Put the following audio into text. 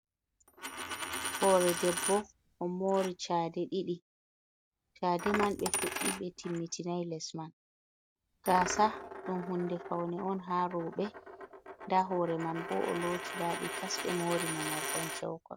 Hoore debbo ɗo moori chade man ɓe fuɗɗi be timmitinai les man, gaasa ɗum huunde fawne on haa rooɓe ndaa hoore man boo ɗo looti laaɓi tas ɓe moori mo